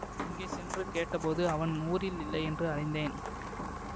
அங்கே சென்று கேட்டபோது அவன் ஊரில் இல்லை என்று அறிந்தேன்